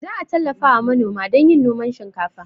Za a tallafawa manoma don yin noman shinkafa